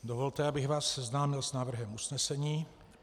Dovolte, abych vás seznámil s návrhem usnesení.